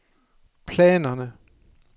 planerne